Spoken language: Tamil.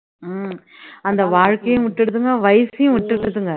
உம் அந்த வாழ்க்கையும் விட்டுடுதுங்க வயசையும் விட்டுடுதுங்க